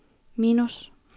minus